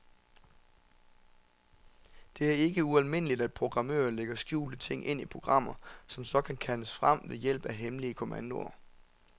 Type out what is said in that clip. Det er ikke ualmindeligt, at programmører lægger skjulte ting ind i programmer, som så kan kaldes frem ved hjælp af hemmelige kommandoer.